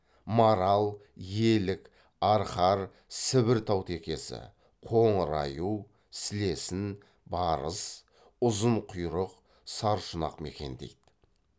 марал елік арқар сібір таутекесі қоңыр аю сілесін барыс ұзынқұйрық саршұнақ мекендейді